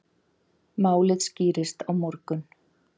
Málið skýrist á morgun.